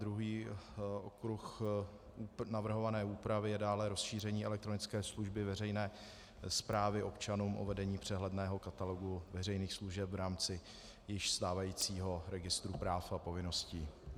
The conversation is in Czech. Druhý okruh navrhované úpravy je dále rozšíření elektronické služby veřejné správy občanům o vedení přehledného katalogu veřejných služeb v rámci již stávajícího registru práv a povinností.